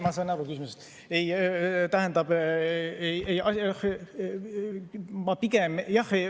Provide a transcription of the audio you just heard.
Ma saan aru küsimusest.